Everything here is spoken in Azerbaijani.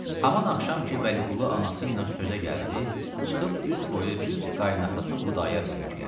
Həman axşam ki, Vəliqulu anası ilə sözə gəldi, çıxıb üz qoydu düz qayınatası Xudayar bəy gülə.